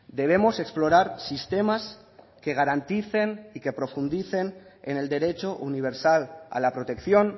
debemos explorar sistemas que garanticen y que profundicen en el derecho universal a la protección